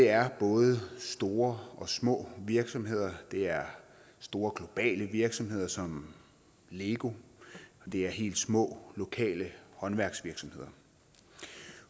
er både store og små virksomheder det er store globale virksomheder som lego og det er helt små lokale håndværksvirksomheder